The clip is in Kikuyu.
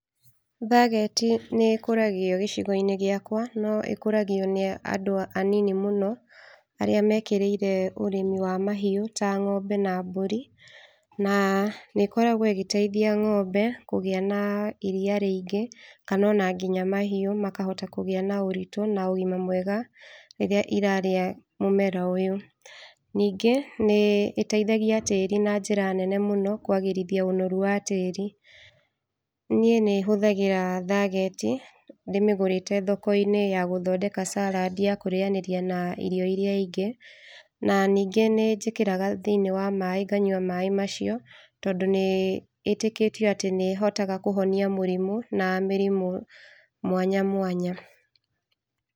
Thageti nĩ ĩkoragio gĩcigo-inĩ gĩakwa no ĩkoragio nĩ andũ anini mũno arĩa mekĩrĩire ũrĩmi wa mahiu ta ng'ombe na mbũri na nĩ ĩkoragwo ĩgĩteithia ng'ombe kũgĩa na iria rĩingĩ kana ona nginya mahiu makahota kũgĩa na ũritũ na ũgima mwega rĩrĩa irarĩa mũmera ũyũ. Ningĩ nĩ ĩteithagia tĩri na njĩra nene mũno kwagĩrithia ũnoru wa tĩri, nĩe nĩ hũthagĩra thageti ndĩmĩgũrĩte thoko-inĩ ya gũthondeka carandi ya kũrianĩria na irio iria ingĩ na ningĩ nĩ njĩkĩraga thĩĩniĩ wa maĩ nganyũa maĩ macio tondũ nĩĩtĩkĩtio atĩ nĩ ĩhotaga kũhonia mũrimũ na mĩrimũ mwanya mwanya.